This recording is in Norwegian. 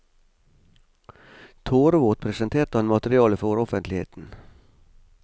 Tårevåt presenterte han materialet for offentligheten.